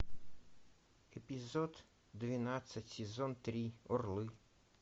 эпизод двенадцать сезон три орлы